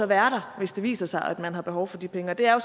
være der hvis det viser sig at man har behov for de penge og det er jo